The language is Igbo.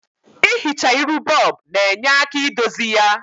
I hichaa iru bob na-nye aka idozi ya.